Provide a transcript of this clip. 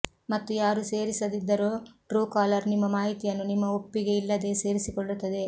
ಮತ್ತು ಯಾರು ಸೇರಿಸದಿದ್ದರೂ ಟ್ರೂಕಾಲರ್ ನಿಮ್ಮ ಮಾಹಿತಿಯನ್ನು ನಿಮ್ಮ ಒಪ್ಪಿಗೆ ಇಲ್ಲದೆಯೇ ಸೇರಿಸಿಕೊಳ್ಳುತ್ತದೆ